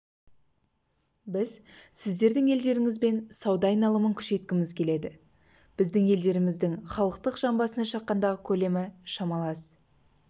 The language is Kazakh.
біз сіздердің елдеріңізбен сауда айналымын күшейткіміз келеді біздің елдеріміздің халықтың жан басына шаққандағы көлемі шамалас